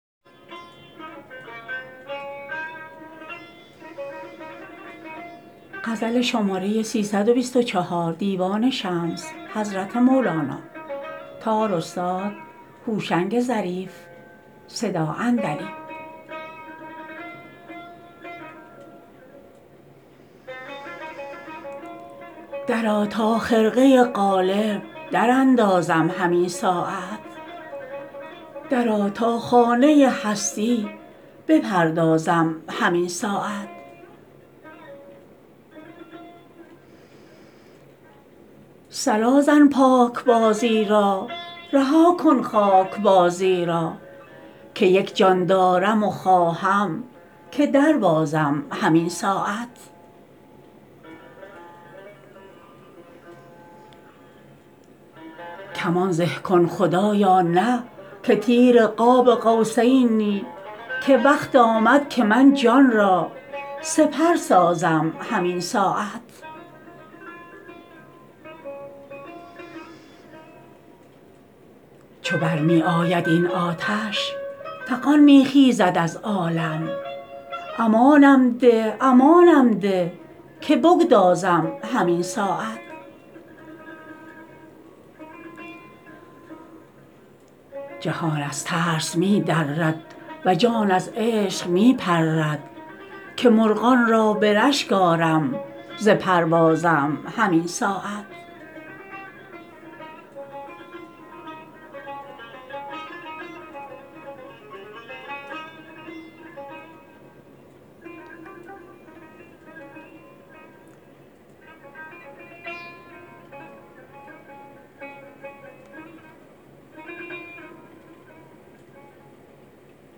درآ تا خرقه قالب دراندازم همین ساعت درآ تا خانه هستی بپردازم همین ساعت صلا زن پاکبازی را رها کن خاک بازی را که یک جان دارم و خواهم که دربازم همین ساعت کمان زه کن خدایا نه که تیر قاب قوسینی که وقت آمد که من جان را سپر سازم همین ساعت چو بر می آید این آتش فغان می خیزد از عالم امانم ده امانم ده که بگدازم همین ساعت جهان از ترس می درد و جان از عشق می پرد که مرغان را به رشک آرم ز پروازم همین ساعت